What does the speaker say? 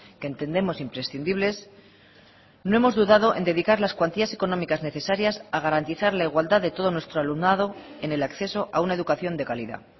que entendemos imprescindibles no hemos dudado en dedicar las cuantías económicas necesarias a garantizar la igualdad de todo nuestro alumnado en el acceso a una educación de calidad